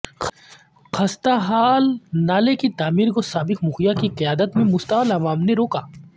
خستہ حال نالےکی تعمیر کو سابق مکھیا کی قیادت میں مشتعل عوام نے روکا